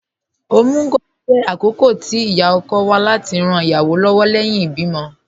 Omugwò jẹ̀ àkókọ̀ tì íyá-ọ̀kọ̀ wà láti ran ìyáwọ́ lọ́wọ̀ lẹ́hìn ìbìmọ̀.